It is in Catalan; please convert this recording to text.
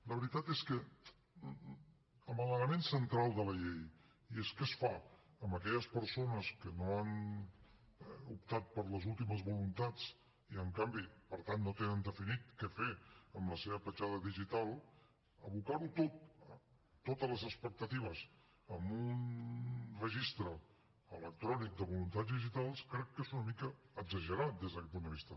la veritat és que l’element central de la llei que és què es fa amb aquelles persones que no han optat per les últimes voluntats i en canvi per tant no tenen definit què fer amb la seva petjada digital abocar ho tot totes les expectatives en un registre electrònic de voluntats digitals crec que és una mica exagerat des d’aquest punt de vista